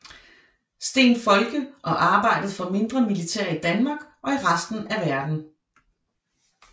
Steen Folke og arbejdede for mindre militær i Danmark og i resten af verden